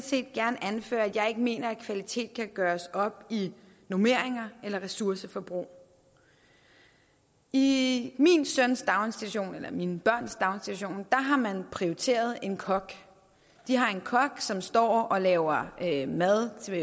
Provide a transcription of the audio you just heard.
set gerne anføre at jeg ikke mener at kvalitet kan gøres op i normeringer eller ressourceforbrug i mine børns daginstitution har man prioriteret en kok de har en kok som står og laver mad til